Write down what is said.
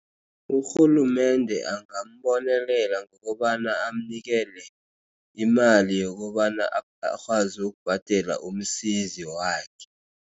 Urhulumende angabonelela ngokobana abamnikele imali yokobana akwazi ukubhadela umsizi wakhe.